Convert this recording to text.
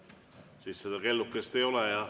Aga siis seda kellukest ei ole.